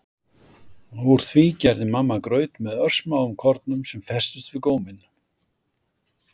Úr því gerði mamma graut með örsmáum kornum sem festust við góminn.